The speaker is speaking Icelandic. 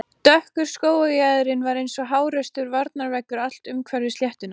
Í öllum tilvikum getur stjórnin sagt framkvæmdastjóranum upp störfum.